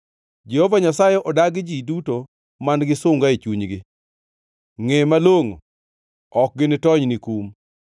Jehova Nyasaye odagi ji duto man-gi sunga e chunygi. Ngʼe ma malongʼo: Ok ginitony ni kum.